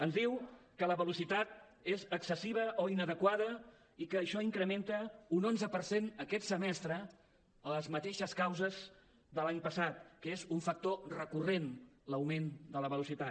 ens diu que la velocitat és excessiva o inadequada i que això incrementa un onze per cent aquest semestre amb les mateixes causes de l’any passat que és un factor recurrent l’augment de la velocitat